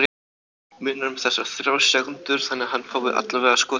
Munar um þessar þrjár sekúndur þannig að hann fái allavega skotið?